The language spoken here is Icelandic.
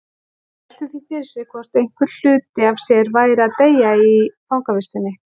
Hann velti því fyrir sér hvort einhver hluti af sér væri að deyja í fangavistinni.